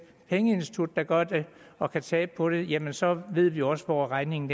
pengeinstitut der gør det og kan tabe på det jamen så ved vi også hvor regningen